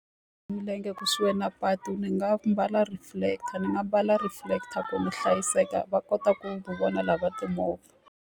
Milenge kusuhi na patu ni nga mbala reflector ni nga mbala reflector ku ni hlayiseka, va kota ku ku vona lava timovha.